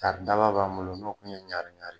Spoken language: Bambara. tari daba b'an bolo nin u kun ye ɲari